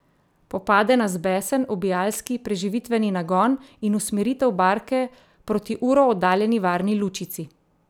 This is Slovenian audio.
Popade nas besen, ubijalski, preživitveni nagon in usmeritev barke proti uro oddaljeni varni lučici.